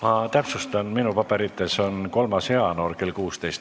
Ma täpsustan, et minu paberites on tähtaeg 3. jaanuar kell 16.